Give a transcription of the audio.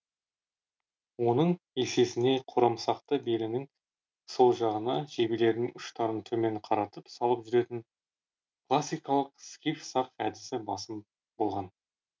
оның есесіне қорамсақты белінің сол жағына жебелердің ұштарын төмен қаратып салып жүретін классикалық скиф сақ әдісі басым болтан